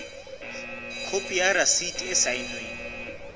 khopi ya rasiti e saennweng